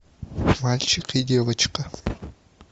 мальчик и девочка